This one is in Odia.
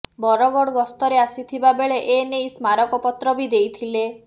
ବରଗଡ ଗସ୍ତରେ ଆସିଥିବା ବେଳେ ଏ ନେଇ ସ୍ମାରକପତ୍ର ବି ଦେଇଥିଲେ